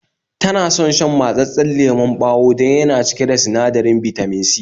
Tana son shan mattsasan lemon bawa dan yana cike da sinadarin Bitamin C